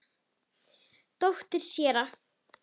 Dóttir séra